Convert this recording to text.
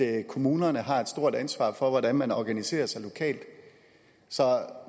at kommunerne har et stort ansvar for hvordan man organiserer sig lokalt så